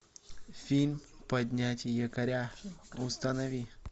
фильм поднять якоря установи